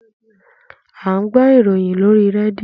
À ń gbọ́ ìròyìn lóríi rédíò.